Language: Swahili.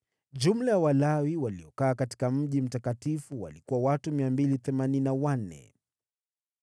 Jumla ya Walawi waliokaa katika mji mtakatifu walikuwa watu 284.